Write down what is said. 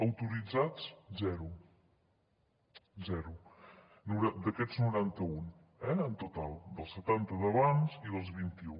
autoritzats zero zero d’aquests noranta un en total dels setanta d’abans i dels vint i un